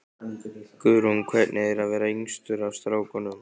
Guðrún: Hvernig er að vera yngstur af strákunum?